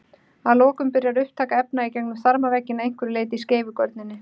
Að lokum byrjar upptaka efna í gegnum þarmavegginn að einhverju leyti í skeifugörninni.